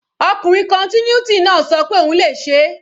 Ọkùnrin continuity náà ṣọ pé òun le ṣeé.